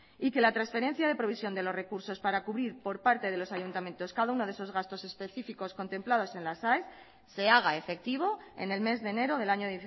y que la transferencia de provisión de los recursos para cubrir por parte de los ayuntamientos cada uno de esos gastos específicos contemplados en las aes se haga efectivo en el mes de enero del año